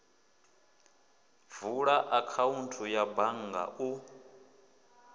vula akhaunthu ya bannga u